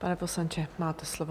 Pane poslanče, máte slovo.